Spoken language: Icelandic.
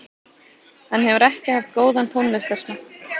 Hann hefur ekki haft góðan tónlistarsmekk